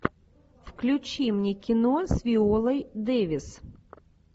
включи мне кино с виолой дэвис